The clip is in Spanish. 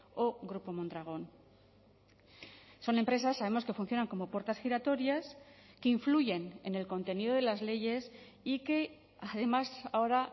o grupo mondragon son empresas sabemos que funcionan como puertas giratorias que influyen en el contenido de las leyes y que además ahora